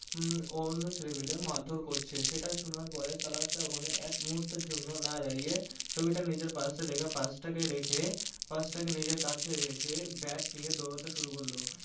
হম অন্য ছেলে মাইল মারধর করছে সেটা পরে সাহেব ওখানে এক মুহূর্তের জন্য না দাঁড়িয়ে ছবিটা নিজের purse এ রেখে purse টাকে রেখে purse টাকে নিজের কাছে রেখে bag নিয়ে দৌড়াতে শুরু করলো।